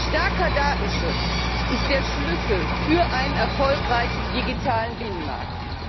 Starker Datenschutz ist der Schlüssel für einen erfolgreichen digitalen Binnenmarkt.